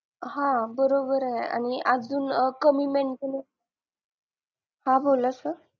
हा बरोबरे अजून अं कमी maintainance हा बोला sir